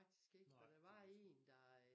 Nej det ved jeg sgu